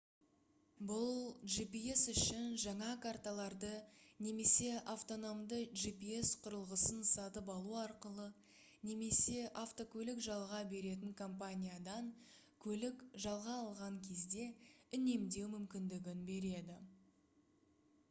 бұл gps үшін жаңа карталарды немесе автономды gps құрылғысын сатып алу арқылы немесе автокөлік жалға беретін компаниядан көлік жалға алған кезде үнемдеу мүмкіндігін береді